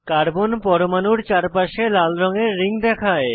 carbon পরমাণুর চারপাশে লাল রঙের রিং দেখায়